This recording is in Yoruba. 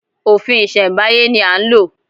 Òfin ìsèmbáyé ni a ń lò